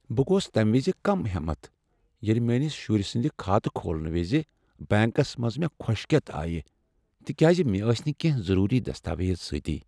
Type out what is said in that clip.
بہٕ گوس تمہ وز كم حیمت ییٚلہ مِیٲنِس شُرۍ سٕنٛد خاتہٕ کھولنہِ وِزِ بنکس منٛز مےٚ كھوشكیتھ آیہِ تکیاز مےٚ ٲسۍ نہٕ کٮ۪نٛہہ ضروری دستاویز سۭتۍ۔